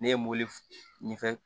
Ne ye mobili ɲɛ fɛ